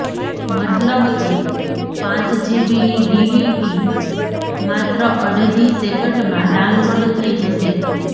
મતલબ કે પાંચ જીબીની ડીવીડી માત્ર અડધી સેકન્ડમાં ડાઉનલોડ થઇ જશે